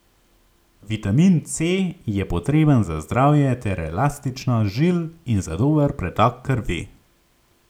Vitamin C je potreben za zdravje ter elastičnost žil in za dober pretok krvi.